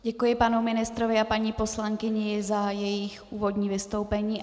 Děkuji panu ministrovi a paní poslankyni za jejich úvodní vystoupení.